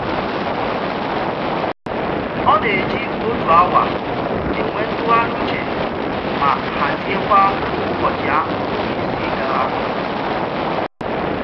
Ọ na-eji otu awa enwe ntụgharị uche ma haziekwa k'ụbọchị ahụ ga-esi gaa